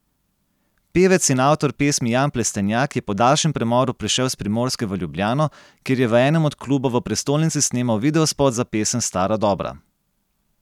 Pevec in avtor pesmi Jan Plestenjak je po daljšem premoru prišel s Primorske v Ljubljano, kjer je v enem od klubov v prestolnici snemal videospot za pesem Stara dobra.